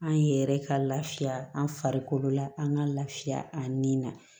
An yɛrɛ ka lafiya an farikolo la an ka lafiya a nin na